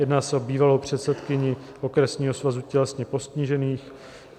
Jedná se o bývalou předsedkyni Okresního svazu tělesně postižených.